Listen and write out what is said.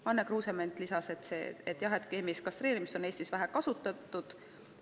Anne Kruusement märkis, et keemilist kastreerimist on Eestis vähe kasutatud.